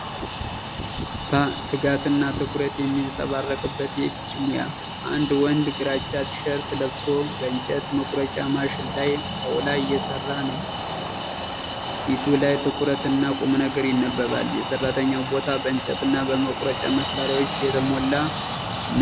ፐ ትጋትና ትኩረት የሚንጸባረቅበት የእጅ ሙያ። አንድ ወንድ ግራጫ ቲ-ሸርት ለብሶ በእንጨት መቁረጫ ማሽን ላይ ጣውላ እየሰራ ነው። ፊቱ ላይ ትኩረት እና ቁምነገር ይነበባል። የሰራተኛው ቦታ በእንጨትና በመቁረጫ መሳሪያዎች የተሞላ ነው።